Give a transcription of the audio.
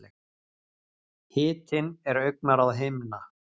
Hitinn er augnaráð hinna.